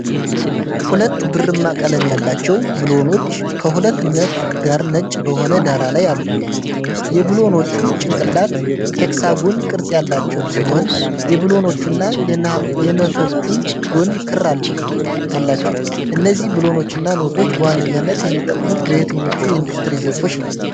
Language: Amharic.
ሁለት ብርማ ቀለም ያላቸው ብሎኖች ከሁለት ነት ጋር ነጭ በሆነ ዳራ ላይ አሉ። የብሎኖቹ ጭንቅላት ሄክሳጎን ቅርጽ ያላቸው ሲሆን፣ የብሎኖቹና የነቶቹም ጎን ክር አላቸው። እነዚህ ብሎኖችና ነቶች በዋነኝነት የሚጠቅሙት በየትኞቹ የኢንዱስትሪ ዘርፎች ነው?